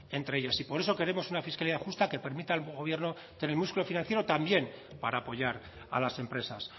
entre ellas y por eso queremos una fiscalía justa que permita el gobierno tener un músculo financiero para apoyar a las empresas